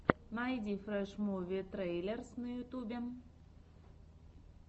найди фрэш муви трейлерс на ютьюбе